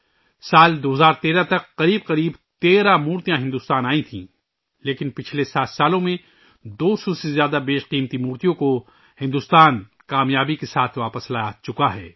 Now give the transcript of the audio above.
سال 2013 ء تک تقریباً 13 مورتیاں بھارت آئی تھیں لیکن، پچھلے سات سالوں میں، بھارت کامیابی سے 200 سے زیادہ انمول مورتیوں کو واپس لا چکا ہے